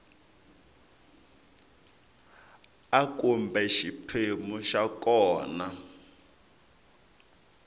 a kumbe xiphemu xa kona